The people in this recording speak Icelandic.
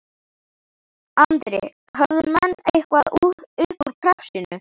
Andri: Höfðu menn eitthvað upp úr krafsinu?